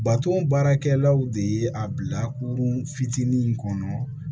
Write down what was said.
Baton baarakɛlaw de ye a bila kurun fitinin in kɔnɔ